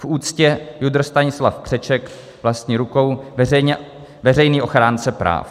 V úctě JUDr. Stanislav Křeček, vlastní rukou, veřejný ochránce práv."